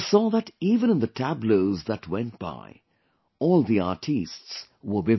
We saw that even in the tableaux that went by, all the artistes were women